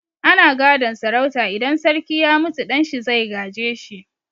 Ana gadon sarauta, idan sarki ya mutu ɗan shi zai gaje shi.